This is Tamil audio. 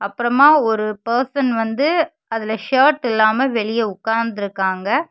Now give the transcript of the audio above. அப்பறமா ஒரு பெர்சன் வந்து அதுல ஷர்ட் இல்லாம வெளிய உக்காந்திருகாங்க.